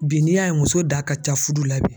Bi n'i y'a ye muso da ka ca fudu la bi